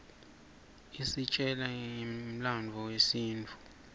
isitjela ngemlandvo yesintfu